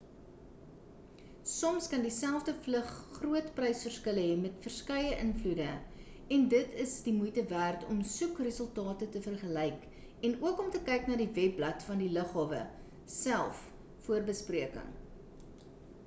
soms kan dieselfde vlug groot prys verskille hê met verskeie invloede end it is die moeite werd om soekresultate te vergelyk en ook om te kyk na die webblad van die lughawe self voor bespreking